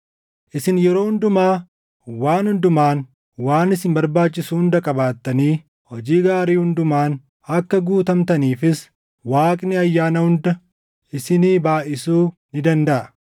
Isin yeroo hundumaa waan hundumaan waan isin barbaachisu hunda qabaattanii hojii gaarii hundumaan akka guutamtaniifis Waaqni ayyaana hunda isinii baayʼisuu ni dandaʼa.